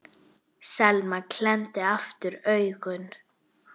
Selma klemmdi aftur augun.